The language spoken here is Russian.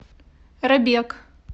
робек